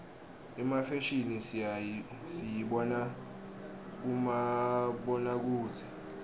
imfashimi siyibona kubomabonakudze